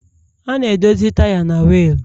A na-edozi taya na wiil